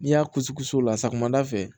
N'i y'a kusi o la sa ma da fɛ